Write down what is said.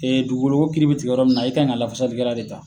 dugukoloko kiri bɛ tigɛ yɔrɔ minna, i ka kan ka lafasalikɛra .de ta